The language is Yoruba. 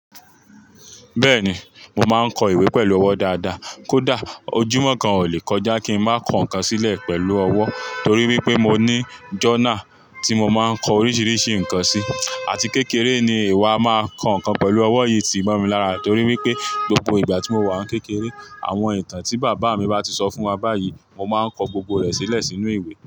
Bẹ́ẹ̀ni, mo máa ń kọ ìwé pẹ̀lú ọwọ́ dáadáa, kódà ojúmọ́ kan ò lè kọjá kí n má kọ nǹkan sílẹ̀ pẹ̀lú ọwọ́ torí wípé mo ní jọ́urnàl tí mo máa ń kọ oríṣiríṣi nǹkan sí. Àti kékeré ni ìwà máa ń kọ ǹkan pẹ̀lú ọwọ́ yìí ti ń bọ̀ mí lára torí wípé gbogbo ìgbà tí mo wà kékeré, àwọn ìtàn tí bàbá mi bá ti sọ fún wa báyìí, mo máa ń kọ gbogbo rẹ̀ sílẹ̀ sínú ìwé.